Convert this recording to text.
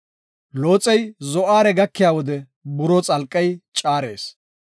Looxey Zo7aare gakiya wode buroo xalqey caares.